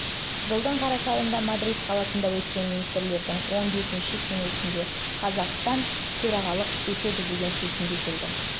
жылдың қараша айында мадрид қаласында өткен министрлерінің он бесінші кеңесінде қазақстан жылы ға төрағалық етеді деген шешімге келді